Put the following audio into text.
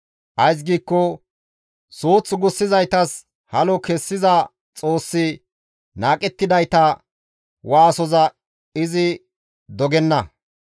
Ays giikko suuth gussizaytas halo kessiza Xoossi naaqettidayta waasoza izi dogenna.